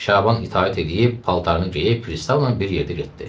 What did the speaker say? Şaban itaət eləyib paltarını geyib, pristavla bir yerdə getdi.